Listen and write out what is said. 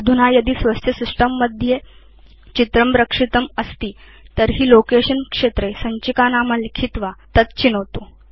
अधुना यदि स्वस्य सिस्टम् मध्ये चित्रं रक्षितम् अस्ति तर्हि लोकेशन क्षेत्रे सञ्चिकानाम लिखित्वा तत् चिनोतु